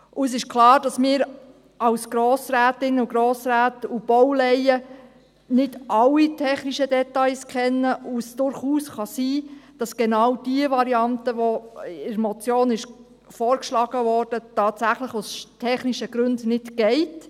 Es ist klar, dass wir als Grossrätinnen und Grossräte und Baulaien nicht alle technischen Details kennen und es durchaus sein kann, dass genau die Variante, die in der Motion vorgeschlagen wurde, tatsächlich aus technischen Gründen nicht geht.